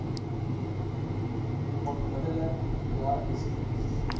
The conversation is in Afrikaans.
onmiddellik via sms